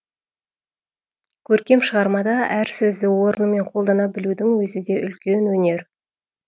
көркем шығармада әр сөзді орнымен қолдана білудің өзі де үлкен өнер